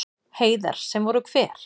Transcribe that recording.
Heiðar: Sem voru hver?